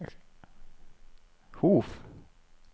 Hof